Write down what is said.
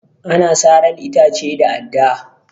Ana saran itace da adda.